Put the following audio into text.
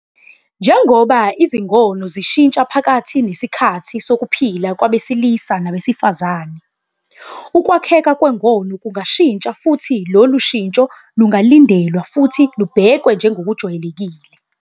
Njengoba izingono zishintsha phakathi nesikhathi sokuphila kwabesilisa nabesifazane, ukwakheka kwengono kungashintsha futhi lolu shintsho lungalindelwa futhi lubhekwe njengokujwayelekile.